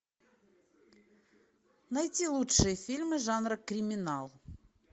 найти лучшие фильмы жанра криминал